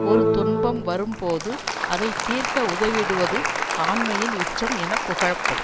ஒரு துன்பம் வரும்போது அதை தீர்க்க உதவிடுவது ஆண்மையின் உச்சம் என புகழப்படும்